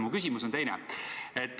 Mu küsimus on selline.